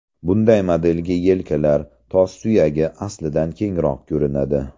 Bunday modelda yelkalar, tos suyagi aslidan kengroq ko‘rinadi.